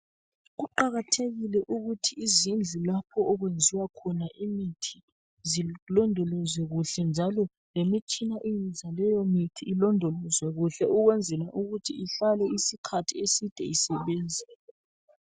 Kuqakathekile ukuthi izindlu lapho okwenziwa khona imithi zilondolozwe kuhle njalo lemitshina eyenza leyomithi ilondolozwe ukwenzela ukuthi ihlale isikhathi eside isebenza